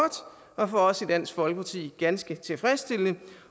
og for os i dansk folkeparti ganske tilfredsstillende